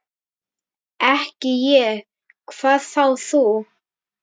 Ekki ég, hvað þá þú.